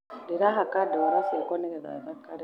Ndĩrahaka ndũra cĩakwa nĩgetha thakare